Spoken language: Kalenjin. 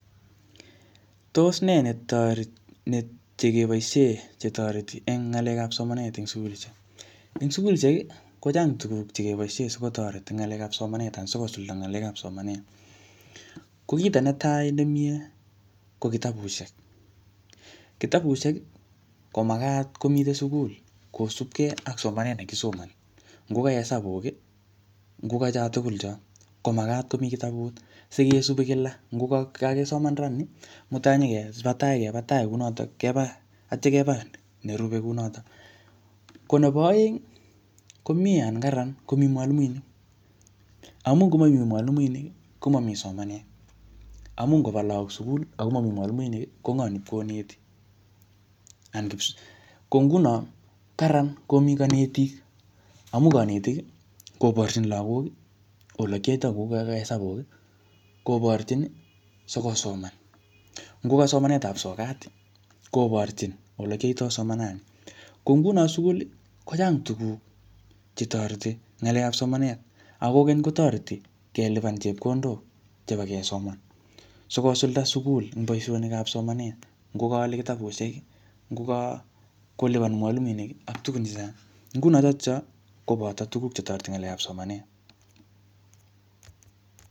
Tos ne toreti ne chekeboisie che toreti eng ng'alekap somanet eng sukulishek. Eng sukulishek, kochang tuguk chekeboisie sikotoret en ng'alekap somanet anan sikosulda ng'alekap somanet. Ko kito netai nemiee ko kitabushek. Kitabushek, ko magat komite sukul kosubkei ak somanet ne kisomani. Ngoka hesabuk, ngokacho tugul cho, ko magat komii kitabut, sikesubi kila. Nguko kakisoma ra nii, mutai nyikeba tai keba tai kounotok keba, atya keba nerube kunotok. Ko nebo aeng, ko miee anan kararan komii mwalimuinik. Amuu ngomamii mwalimuinik, komamii somanet. Amuu ngoba lagok sugul, akomamii mwalimuinik, ko ng'oo ne ipkoneti. Ko nguno, ko kararan komii kanetik. Amu kanetik, koborchin lagok, ole kiyoitoi ngokaka hesabuk, koborchin, sikosoman. Ngoka somanetap sokat, koborchin ole kiyoitoi somanani. Ko nguno sukul, kochang tuguk che toreti ngalekap somanet. Ako keny, kotoreti kelipan chepkondok chebo kesoman. Sikosulda sugul ing boisonikap somanet. Ngoka ale kirabusiek, ngoka kolipan mwalimuinik, ak tugun chechang. Nguno chotocho, koboto tuguk chetoreti ngalekap somanet